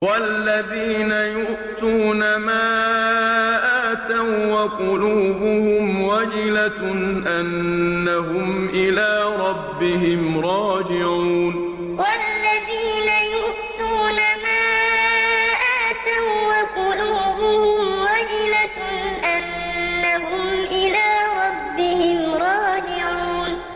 وَالَّذِينَ يُؤْتُونَ مَا آتَوا وَّقُلُوبُهُمْ وَجِلَةٌ أَنَّهُمْ إِلَىٰ رَبِّهِمْ رَاجِعُونَ وَالَّذِينَ يُؤْتُونَ مَا آتَوا وَّقُلُوبُهُمْ وَجِلَةٌ أَنَّهُمْ إِلَىٰ رَبِّهِمْ رَاجِعُونَ